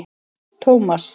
Tómas